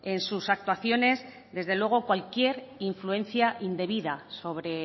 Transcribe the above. en sus actuaciones desde luego cualquier influencia indebida sobre